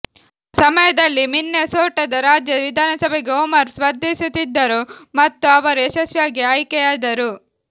ಆ ಸಮಯದಲ್ಲಿ ಮಿನ್ನೇಸೋಟದ ರಾಜ್ಯ ವಿಧಾನಸಭೆಗೆ ಒಮರ್ ಸ್ಪರ್ಧಿಸುತ್ತಿದ್ದರು ಮತ್ತು ಅವರು ಯಶಸ್ವಿಯಾಗಿ ಆಯ್ಕೆಯಾದರು